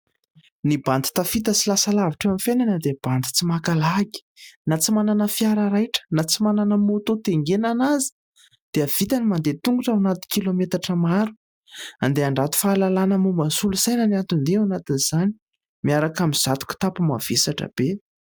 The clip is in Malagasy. Ny bandy tafita sy lasa lavitra eo amin'ny fainana dia bandy tsy maka lagy na dia tsy manana fiara raitra na tsy manana moto taingenana aza dia vita ny mandeha tongotra ho anaty kilometatra maro, andeha handrato fahalalàna momba ny solosaina ny anton-dia ao anatin izany miaraka amin'ny izato kitapo mavesatra be.